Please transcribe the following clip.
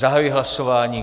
Zahajuji hlasování.